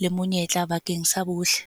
le monyetla bakeng sa bohle.